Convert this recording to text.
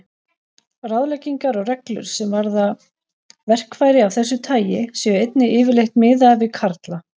Ráðleggingar og reglur, sem varða verkfæri af þessu tagi, séu einnig yfirleitt miðaðar við karla.